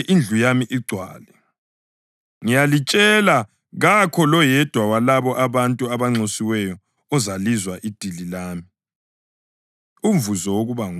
Ngiyalitshela kakho loyedwa walabo bantu ababenxusiwe ozalizwa idili lami.’ ” Umvuzo Wokuba Ngumfundi